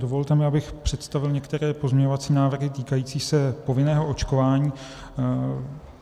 Dovolte mi, abych představil některé pozměňovací návrhy týkající se povinného očkování.